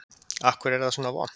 Af hverju er það svona vont?